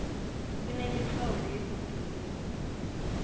kunemitlolo yebhoduluko